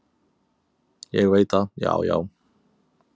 """Ég veit það, já, já."""